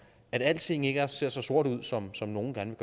at alting ikke ser så sort ud som som nogle gerne